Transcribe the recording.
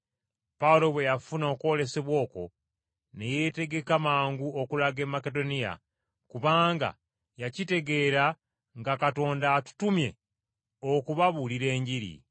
Pawulo bwe yafuna okwolesebwa okwo ne yeetegeka mangu okulaga e Makedoniya, kubanga yakitegeera nga Katonda atutumye okubabuulira Enjiri.